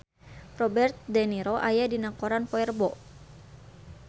Robert de Niro aya dina koran poe Rebo